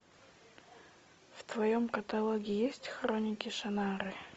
в твоем каталоге есть хроники шаннары